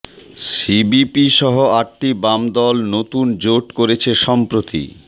CPB সহ আটটি বাম দল নতুন জোট করেছে সম্প্রতি